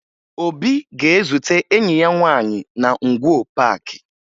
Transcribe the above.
Obi ga-ezute enyi ya nwaanyị na Ngwo Paakị